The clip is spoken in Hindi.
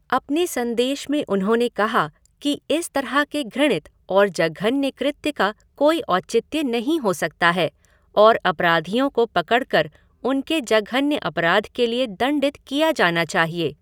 अपने संदेश में उन्होंने कहा कि इस तरह के घृणित और जघन्य कृत्य का कोई औचित्य नहीं हो सकता है और अपराधियों को पकड़कर उनके जघन्य अपराध के लिए दंडित किया जाना चाहिए।